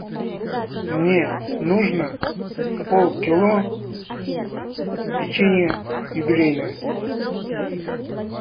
мне нужно полкило печенья юбилейное